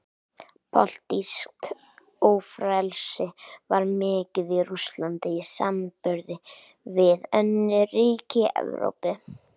Pólitískt ófrelsi var mikið í Rússlandi í samanburði við önnur ríki Evrópu.